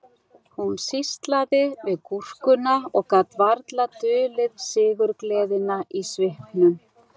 Hún sýslaði við gúrkuna og gat varla dulið sigurgleðina í svipnum